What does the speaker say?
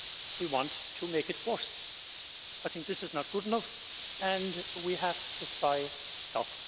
we want to make it worse. I think that this is not good enough and we have to cry stop'.